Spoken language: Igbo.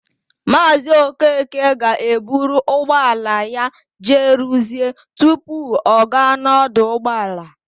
Maazị Okeke ga-eburu ụgbọala ya jee rụzie tupu ọ gaa n'ọdụ ụgbọala.